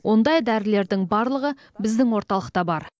ондай дәрілердің барлығы біздің орталықта бар